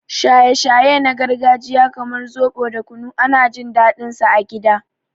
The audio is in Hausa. Shaye-shaye na gargajiya kamar zobo da kunu ana jin daɗinsu a gida.